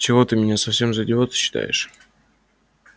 чего ты меня совсем за идиота считаешь